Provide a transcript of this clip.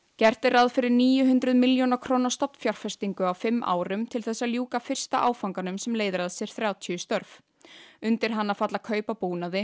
gert er ráð fyrir níu hundruð milljóna króna stofnfjárfestingu á fimm árum til þess að ljúka fyrsta áfanganum sem leiðir af sér þrjátíu störf undir hann falla kaup á búnaði